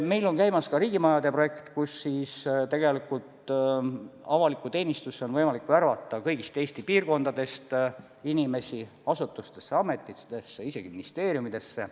Meil on käimas ka riigimajade projekt, mille raames on avalikku teenistusse võimalik värvata kõigist Eesti piirkondadest inimesi asutustesse ja ametitesse, isegi ministeeriumidesse.